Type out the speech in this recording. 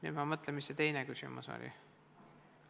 Nüüd ma mõtlen, mis see teine küsimus oli.